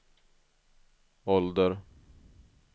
ålder